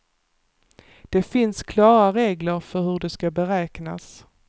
Det finns klara regler för hur de ska beräknas.